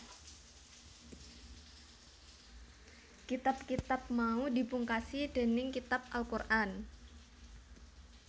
Kitab kitab mau dipungkasi dénig Kitab Al Qur an